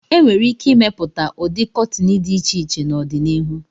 E nwere ike ịmepụta ụdị kọtịn dị iche iche n'ọdịnihu.